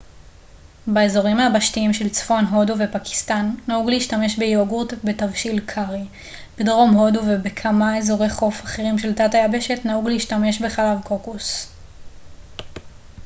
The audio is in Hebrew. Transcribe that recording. באזורים היבשתיים של צפון הודו ופקיסטן נהוג להשתמש ביוגורט בתבשילי קארי בדרום הודו ובכמה אזורי חוף אחרים של תת היבשת נהוג להשתמש בחלב קוקוס